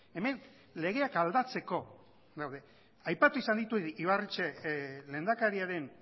hemen legeak aldatzeko gaude aipatu izan ditu ibarretxe lehendakariaren